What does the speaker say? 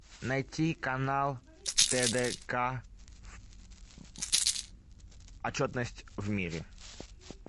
найти канал тдк отчетность в мире